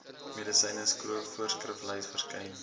medisyne voorskriflys verskyn